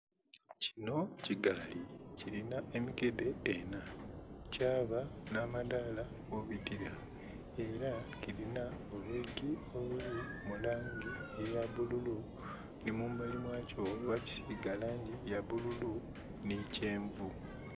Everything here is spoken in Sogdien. Kino kigaali kilinha emikedhe enha, kyaba n'amadaala kwobitira ela kilinha obuntu obuli mu langi eya bbululu ni mu mbali mwakyo bakisiiga langi ya bbululu nhi kyenvu.